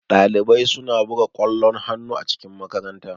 Ɗalibai suna buga kwallon hannu a cikin makaranta.